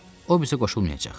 O bizə qoşulmayacaq?